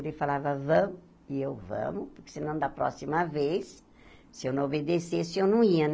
Ele falava, vamos, e eu vamos, porque senão, da próxima vez, se eu não obedecesse, eu não ia, né?